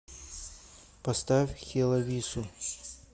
поставь хелавису